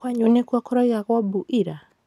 Kwanyu nĩkuo kũraugagwo mbu ira?